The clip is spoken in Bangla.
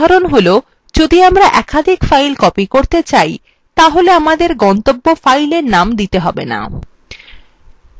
আরেকটি উদাহরণ যখন আমরা একাধিক file copy করতে হলে আমাদের গন্তব্য file name দিতে হবে না